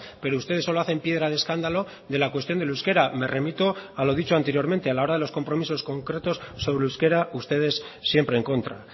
pero ustedes solo hacen piedra de escándalo de la cuestión del euskera me remito a lo dicho anteriormente a la hora de los compromisos concretos sobre euskera ustedes siempre en contra